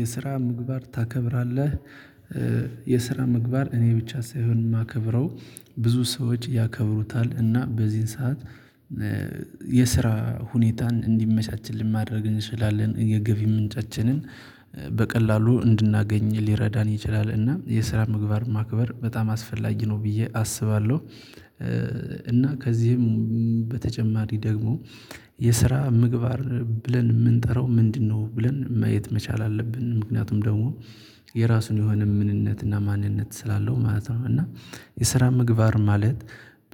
የስራ ምግባር ታከብራለህ? የስራ ምግባር እኔ ብቻ ሳይሆን ማከብረው ብዙ ሰዎች ያከብሩታል እና በዚህን ሰዓት። የስራ ሁኔታን እንዲመቻችልን ማድረግ እንችላለን የገቢ ምንጫችንን በቀላሉ እንድናገኝ ሊረዳን ይችላል እና የስራ ምግባር ማክበር በጣም አስፈላጊ ነው ብዬ አስባለሁ። እና ከዚህም በተጨማሪ ደግሞ የስራ ምግባር ብለን ምንጠራው ምንድነው? ብለን ማየት መቻል አለብን። ምክንያቱም ደግሞ የራሱን የሆነ ምንነት እና ማንነት ስላለው ማለት ነው። እና የስራ ምግባር ማለት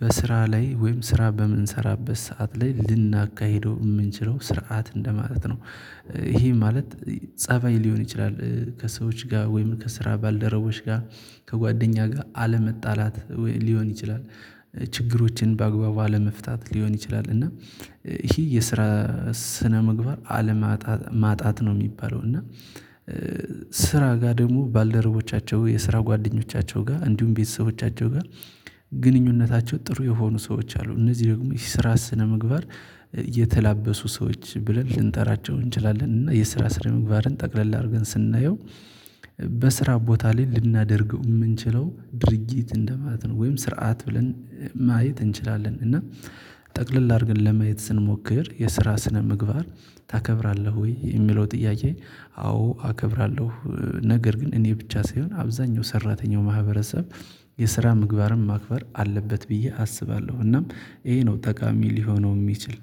በስራ ላይ ወይም ስራ በምንሰራበት ሰዓት ላይ ልናካሂደው ምንችለው ስርዓት እንደማለት ነው። ይሄ ማለት ፀባይ ሊሆን ይችላል ከሰዎች ጋር ወይም ከስራ ባልደረቦች ጋር ከጓደኛ ጋር አለመጣላት ሊሆን ይችላል። ችግሮችን በአግባቡ አለመፍታት ሊሆን ይችላል። እና ይሄ የስራ ስነምግባር አለማጣት ማጣት ነው የሚባለው እና። ስራ ጋር ደግሞ ባልደረቦቻቸው የስራ ጓደኞቻቸው ጋር እንዲሁም ቤተሰቦቻቸው ጋር ግንኙነታቸው ጥሩ የሆኑ ሰዎች አሉ። እነዚህ ደግሞ የስራ ስነምግባር የተላበሱ ሰዎች ብለን ልንጠራቸው እንችላለን። እና የስራ ስነ ምግባርን ጠቅለል አድርገን ስናየው። በስራ ቦታ ላይ ልናደርገው ምንችለው ድርጊት እንደማለት ነው ወይም ስርዓት ብለን ማየት እንችላለን። እና ጠቅልል አድርገን ለመየት ስንሞክር የስራ ስነ ምግባር ታከብራለህ ወይ የሚለው ጥያዬ? አዎ አከብራለሁ ነገር ግን እኔ ብቻ ሳይሆን አብዛኛው ሰራተኛው ማህበረሰብ የስራ ምግባርም ማክበር አለበት ብዬ አስባለሁ። እናም ይሄ ነው ጠቃሚ ሊሆነው ሚችል